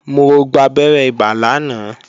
Mo gbabẹ́rẹ́ ibà lánàá